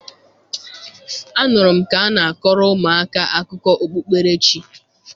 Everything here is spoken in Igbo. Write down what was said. Anụrụ m ka a na-akọrọ ụmụ aka akụkọ okpukperechi.